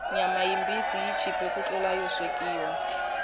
nyama yimbisi yi chipe ku tlula yo swekiwa